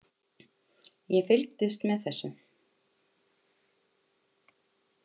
Ég fylgdist með þessu.